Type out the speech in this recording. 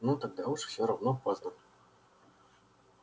ну тогда уж всё равно поздно